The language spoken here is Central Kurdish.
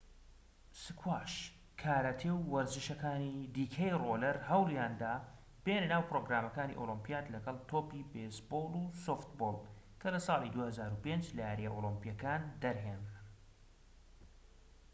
سکواش کاراتێ و وەرزشەکانی دیکەی ڕۆڵەر هەوڵیاندا بێنە ناو پرۆگرامەکانی ئۆلیمپیات لەگەڵ تۆپی بێیسبۆڵ و سۆفتبۆڵ کە لە ساڵی 2005 لە یارییە ئۆلیمپییەکان دەرهێنران